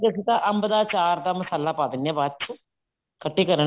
ਅਸੀਂ ਤਾਂ ਅੰਬ ਦਾ ਆਚਾਰ ਦਾ ਮਸਾਲਾ ਪਾ ਦਿੰਨੇ ਆ ਬਾਅਦ ਚ ਖੱਟੀ ਕਰਨ